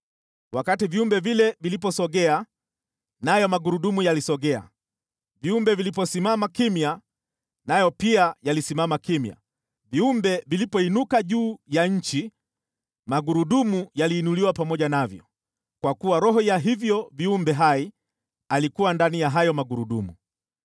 Wakati viumbe vile viliposogea, nayo magurudumu yalisogea, viumbe viliposimama kimya, nayo pia yalisimama kimya, viumbe vilipoinuka juu ya nchi magurudumu yaliinuliwa pamoja navyo kwa kuwa roho ya hivyo viumbe hai alikuwa ndani ya hayo magurudumu.